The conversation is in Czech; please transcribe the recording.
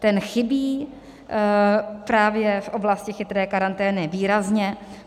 Ten chybí právě v oblasti chytré karantény výrazně.